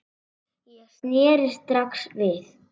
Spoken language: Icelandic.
Ég sneri strax við.